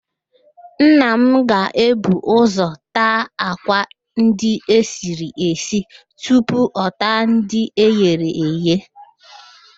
Nna m ga-ebu ụzọ taa àkwá ndị esiri esi tupu ọ taa ndị eghere eghe